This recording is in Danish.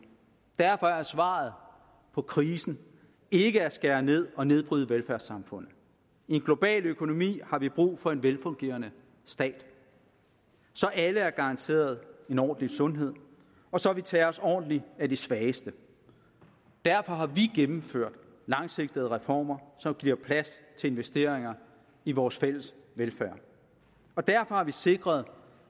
derfor er svaret på krisen ikke at skære ned og nedbryde velfærdssamfundet i en global økonomi har vi brug for en velfungerende stat så alle er garanteret en ordentlig sundhed og så vi tager os ordentligt af de svageste derfor har vi gennemført langsigtede reformer som giver plads til investeringer i vores fælles velfærd derfor har vi sikret